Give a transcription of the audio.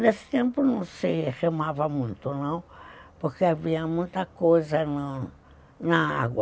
Nesse tempo não se remava muito não, porque havia muita coisa no na água.